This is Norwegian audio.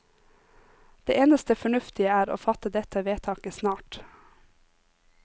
Det eneste fornuftige er å fatte dette vedtaket snart.